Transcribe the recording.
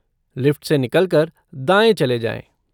Lift से निकल कर दाएँ चले जाएँ।